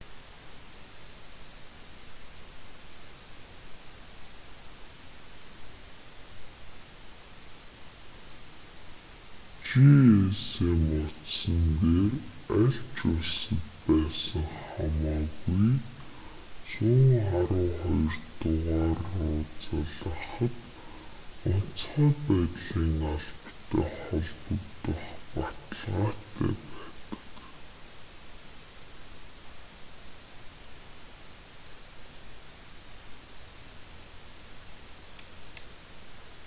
gsm утсан дээр аль ч улсад байсан хамаагүй 112 дугаар руу залгахад онцгой байдлын албатай холбогдох баталгаатай байдаг